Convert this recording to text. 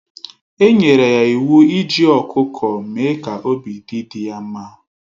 Enyere ya iwu iji ọkụkọ mee ka obi dị di ya mma